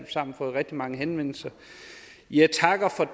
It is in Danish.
sammen fået rigtig mange henvendelser jeg takker